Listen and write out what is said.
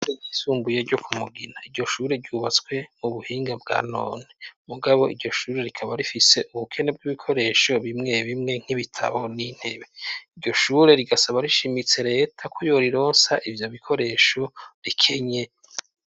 Ishure ryisumbuye ryo ku Mugina, iryo shure ryubatswe mu buhinga bwanone mugabo iryo shure rikaba rifise ubukene bw'ibikoresho bimwe bimwe nk'ibitabo n'intebe, iryo shure rigasaba rishimitse reta ko yorironsa ivyo bikoresho rikenye.